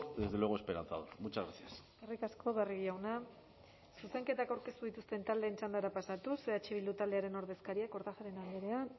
desde luego esperanzador muchas gracias eskerrik asko barrio jauna zuzenketak aurkeztu dituzten taldeen txandara pasatuz eh bilduren ordezkaria kortajarena andrea